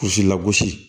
Kurusi lagosi